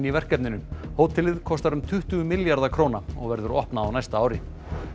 í verkefninu hótelið kostar um tuttugu milljarða króna og verður opnað á næsta ári